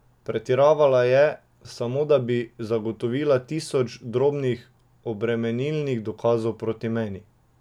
Pretiravala je, samo da bi zagotovila tisoč drobnih obremenilnih dokazov proti meni.